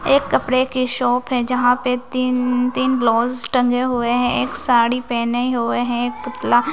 एक कपड़े की शॉप है यहां पे तीन तीन ब्लाउज टंगे हुए हैं एक साड़ी पहने हुए है एक पुतला।